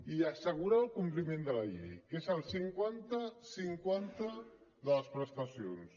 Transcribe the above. i assegurar el compliment de la llei que és el cinquanta cinquanta de les prestacions